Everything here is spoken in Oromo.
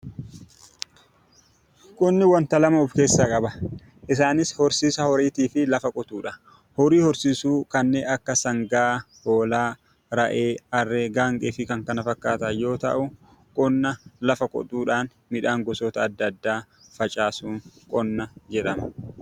Qonni wanta lama of keessaa qaba . Isaanis, horsiisa horiitii fi lafa qotuudha. horii horsiisuu kanneen akka sangaa, hoolaa, re'ee, harree fi Kan kana fakkatan yoo ta'u, qonna lafa qotuudhaan midhaan gosoota addaa addaa facaasuun qonna jedhama.